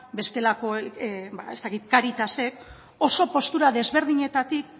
bestelakoek ez dakit cáritasek oso postura desberdinetatik